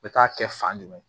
U bɛ taa kɛ fan jumɛn